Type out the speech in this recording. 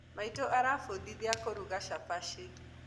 Maitũ arafundithia kũruga cabaci